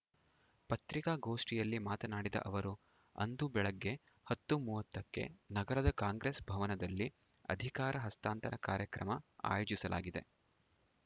ಪತ್ರಿಕಾಗೋಷ್ಠಿಯಲ್ಲಿ ಮಾತನಾಡಿದ ಅವರು ಅಂದು ಬೆಳಗ್ಗೆ ಹತ್ತು ಮೂವತ್ತಕ್ಕೆ ನಗರದ ಕಾಂಗ್ರೆಸ್‌ ಭವನದಲ್ಲಿ ಅಧಿಕಾರ ಹಸ್ತಾಂತರ ಕಾರ್ಯಕ್ರಮ ಆಯೋಜಿಸಲಾಗಿದೆ